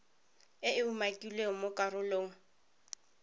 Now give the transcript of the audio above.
e e umakilweng mo karolong